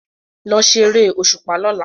Lọ ṣeré òṣùpá lọla!